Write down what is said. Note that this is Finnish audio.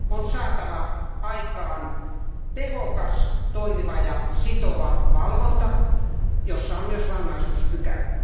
On saatava aikaan tehokas, toimiva ja sitova valvonta, jossa on myös rangaistuspykälät.